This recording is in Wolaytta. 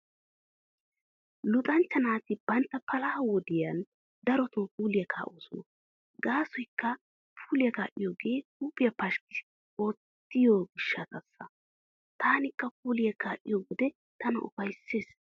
Luxanchcha naati bantta palaha wodiyan darotoo puuliyaa kaa'oosona gaasoykka puuliyaa kaa'iyoogee huuphiyaa pashkki oottiyo gishshataassa. Taanikka puuliyaa kaa'iyo wode tana ufayssees.